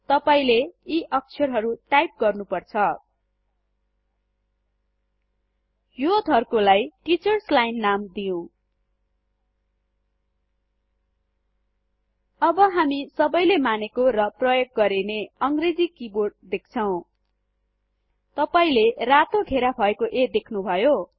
तपाइले यी अक्षरहरु टाइप गर्नुपर्छ यो धर्कोलाई टीचर्स लाइन नाम दिउँ अब हामी सबैले मानेको र प्रयोग गरिने इङ्गिलश किबोर्ड देख्छौं तपाईले रातो घेरा भएको a देख्नुभयो